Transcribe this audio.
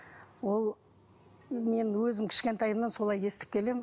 ол мен өзім кішкентайымнан солай естіп келемін